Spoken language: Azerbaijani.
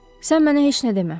Sən mənə heç nə demə.